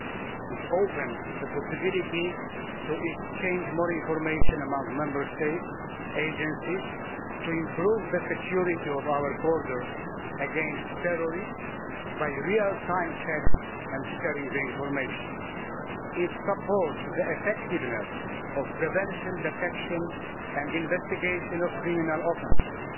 They open up the possibility to exchange more information among Member States' agencies and to improve the security of our borders against terrorists by real time checks and the sharing of information. They support the effectiveness of the prevention, detection and investigation of criminal offences.